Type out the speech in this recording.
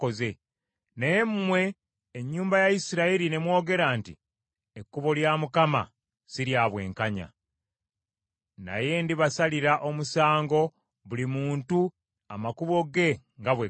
Naye mmwe ennyumba ya Isirayiri ne mwogera nti, ‘Ekkubo lya Mukama si lya bwenkanya.’ Naye ndibasalira omusango buli muntu amakubo ge nga bwe gali.”